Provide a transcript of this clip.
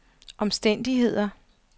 omstændigheder